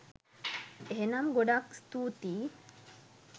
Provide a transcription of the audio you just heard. එහනම් ගොඩක් ස්තුතියි